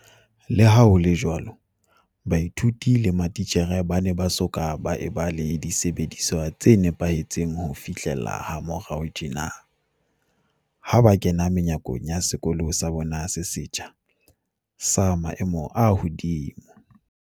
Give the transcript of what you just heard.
Leha ho le jwalo, baithuti le mati tjhere ba ne ba soka ba eba le disebediswa tse nepahe tseng ho fihlela ha morao tjena, ha ba kena menyakong ya sekolo sa bona se setjha, sa maemo a hodimo.